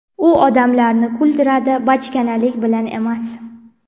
U odamlarni kuldiradi, bachkanalik bilan emas.